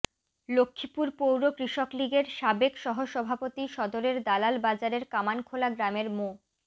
লক্ষ্মীপুর পৌর কৃষক লীগের সাবেক সহসভাপতি সদরের দালাল বাজারের কামানখোলা গ্রামের মো